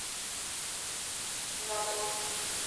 задонске